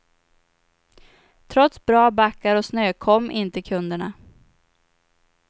Trots bra backar och snö kom inte kunderna.